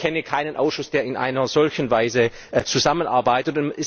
Ich kenne keinen Ausschuss, der in einer solchen Weise zusammenarbeitet.